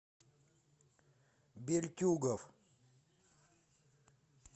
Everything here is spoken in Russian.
бельтюгов